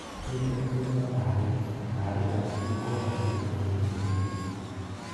"Miten chi nebo baarit" baarit aketukul koyache kotinye cheribe